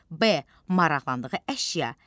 B. maraqlandığı əşya.